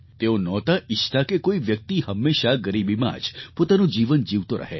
તેઓ નહોતા ઈચ્છતા કે કોઈ વ્યક્તિ હંમેશાં ગરીબીમાં જ પોતાનું જીવન જીવતો રહે